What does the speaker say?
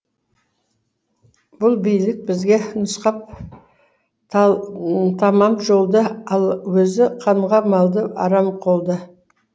бұл билік бізге нұсқап тәмам жолды ал өзі қанға малды арам қолды